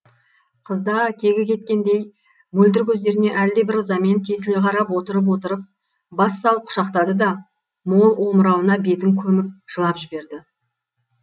қызда кегі кеткендей мөлдір көздеріне әлдебір ызамен тесіле қарап отырып отырып бас салып құшақтады да мол омырауына бетін көміп жылап жіберді